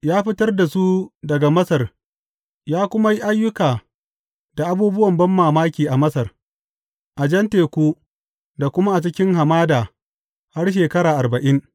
Ya fitar da su daga Masar ya kuma yi ayyukan da abubuwan banmamaki a Masar, a Jan Teku, da kuma cikin hamada har shekara arba’in.